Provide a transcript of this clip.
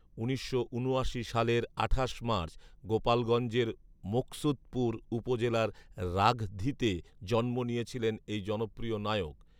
উনিশশো উনআশি সালের আঠাশ মার্চ গোপালগঞ্জের মুকসুদপুর উপজেলার রাঘধীতে জন্ম নিয়েছিলেন এই জনপ্রিয় নায়ক